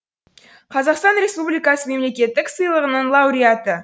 қазақстан республикасы мемлекеттік сыйлығының лауреаты